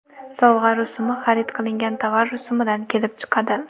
Sovg‘a rusumi xarid qilingan tovar rusumidan kelib chiqadi.